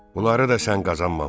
Bunları da sən qazanmamısan.